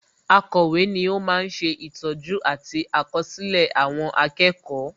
Akọ̀wé ni ó ma ń sè ìtọ́jú àti àkọsílẹ̀ àwọn akẹ́kọ̀ọ́